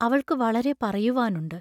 അവൾക്കു വളരെ പറയുവാനുണ്ട്.